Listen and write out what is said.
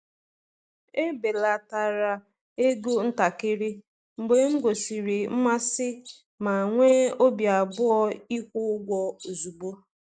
Ebelatara ego ntakịrị mgbe m gosiri mmasị ma nwee obi abụọ ịkwụ ụgwọ ozugbo.